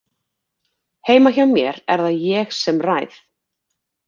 Heima hjá mér er það ég sem ræð.